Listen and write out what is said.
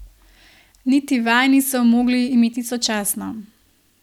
Niti vaj niso mogli imeti sočasno.